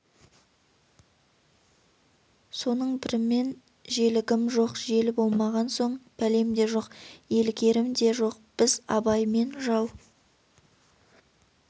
соның бірімін желігім жоқ желі болмаған соң бәлем де жоқ елігерім де жоқ біз абаймен жау